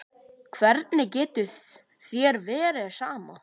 Hvernig getur þér verið sama?